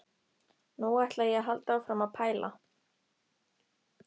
Nú ætla ég að halda áfram að pæla.